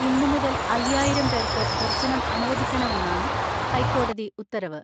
ഇന്നു മുതൽ അയ്യായിരം പേർക്ക് ദർശനം അനുവദിക്കണമെന്നാണ് ഹൈക്കോടതി ഉത്തരവ്.